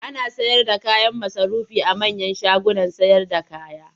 Ana sayarda kayan masarufi a manyan shagunan sayarda kaya.